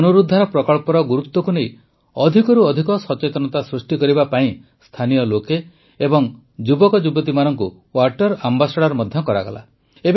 ଏହି ପୁନରୁଦ୍ଧାର ପ୍ରକଳ୍ପର ଗୁରୁତ୍ୱକୁ ନେଇ ଅଧିକରୁ ଅଧିକ ସଚେତନତା ସୃଷ୍ଟି କରିବା ପାଇଁ ସ୍ଥାନୀୟ ଲୋକ ଏବଂ ଯୁବକଯୁବତୀମାନଙ୍କୁ ୱାଟର୍ ଆମ୍ବାସାଡର୍ ମଧ୍ୟ କରାଗଲା